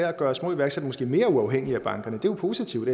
at gøre små iværksættere mere uafhængige af bankerne det er jo positivt